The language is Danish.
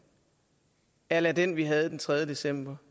a la den vi havde den tredje december